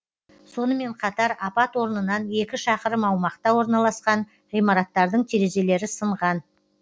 сонымен қатар апат орнынан екі шақырым аумақта орналасқан ғимараттардың терезелері сынған